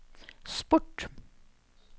sport